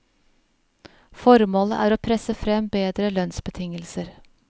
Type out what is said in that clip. Formålet er å presse frem bedre lønnsbetingelser.